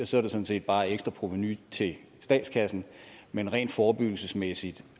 sådan set bare ekstra provenu til statskassen men rent forebyggelsesmæssigt